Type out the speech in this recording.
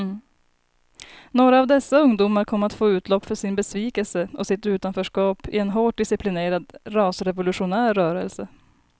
Några av dessa ungdomar kom att få utlopp för sin besvikelse och sitt utanförskap i en hårt disciplinerad rasrevolutionär rörelse.